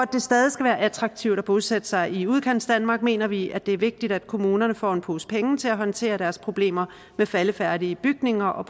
skal være attraktivt at bosætte sig i udkantsdanmark mener vi at det er vigtigt at kommunerne får en pose penge til at håndtere deres problemer med faldefærdige bygninger og